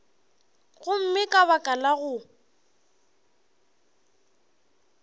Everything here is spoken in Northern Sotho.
gomme ka baka la go